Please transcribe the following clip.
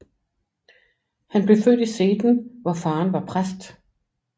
Han blev født i Seden hvor faderen var præst